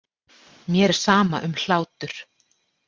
Mér er sama um hlátur.